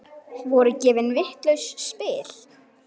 Voru gefin vitlaus spil?